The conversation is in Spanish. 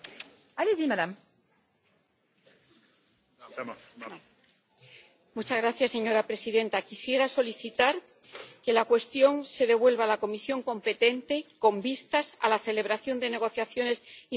Señora presidenta, quisiera solicitar que el asunto se devuelva a la comisión competente con vistas a la celebración de negociaciones interinstitucionales, de conformidad con el artículo 59, apartado 4, del Reglamento